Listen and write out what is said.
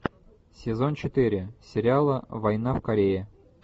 сезон четыре сериала война в корее